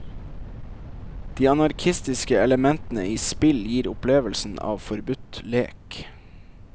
De anarkistiske elementene i spill gir opplevelsen av forbudt lek.